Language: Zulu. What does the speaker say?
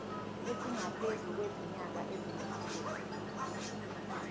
esingaphezu kwezinyanga eziyisithupha